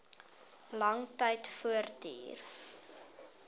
lang tyd voortduur